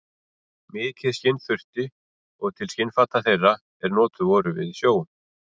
Mikið skinn þurfti og til skinnfata þeirra, er notuð voru við sjó.